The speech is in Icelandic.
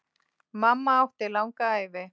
Mamma átti langa ævi.